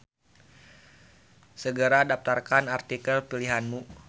Segera daftarkan artikel pilihanmu.